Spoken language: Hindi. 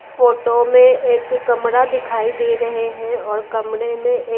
फोटो में एक कमरा दिखाई दे रहे है और कमरे में एक--